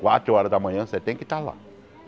Quatro horas da manhã você tem que estar lá.